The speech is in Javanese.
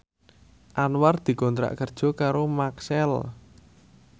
Anwar dikontrak kerja karo Maxell